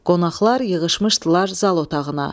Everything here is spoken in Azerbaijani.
Qonaqlar yığışmışdılar zal otağına.